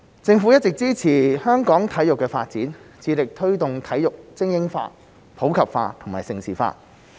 政府一直支持香港體育發展，致力推動體育精英化、普及化和盛事化。